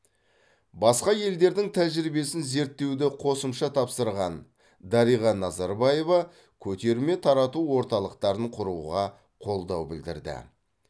басқа елдердің тәжірибесін зерттеуді қосымша тапсырған дариға назарбаева көтерме тарату орталықтарын құруға қолдау білдірді